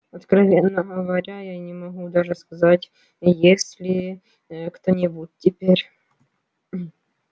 откровенно говоря я не могу даже сказать есть ли ээ кто-нибудь теперь